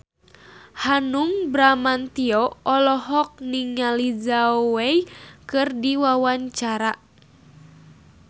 Hanung Bramantyo olohok ningali Zhao Wei keur diwawancara